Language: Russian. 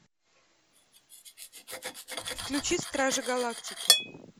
включи стражи галактики